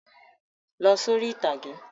Lọ sórí ìtàgé!